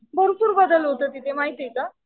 भरपूर बदल होतो तिथे माहितीये का.